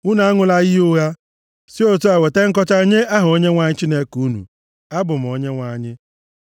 “ ‘Unu aṅụla iyi ụgha, si otu a weta nkọcha nye aha Onyenwe anyị Chineke unu. Abụ m Onyenwe anyị.